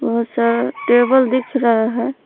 बहुत सारा टेबल दिख रहा है।